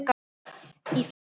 Í frásögn